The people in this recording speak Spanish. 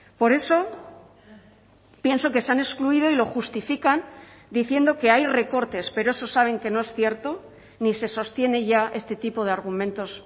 por eso pienso que se han excluido y lo justifican diciendo que hay recortes pero eso saben que no es cierto ni se sostiene ya este tipo de argumentos